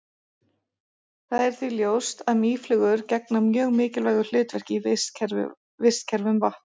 það er því ljóst að mýflugur gegna mjög mikilvægu hlutverki í vistkerfum vatna